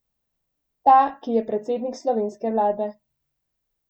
Ta, ki je predsednik slovenske vlade.